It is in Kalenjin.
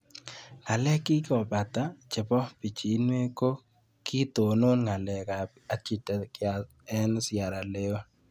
Ng'alek chekikopata chepo pichinwek ko kitonon ng'alek ab Architecture eng' sierra leon